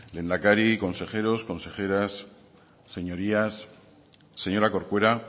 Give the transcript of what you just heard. lehendakari consejero consejeras señorías señora corcuera